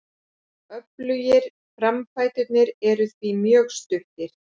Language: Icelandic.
Öflugir framfæturnir eru því mjög stuttir.